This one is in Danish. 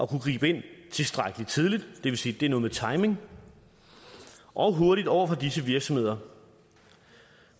gribe ind tilstrækkelig tidligt det vil sige at det er noget med timing og hurtigt over for disse virksomheder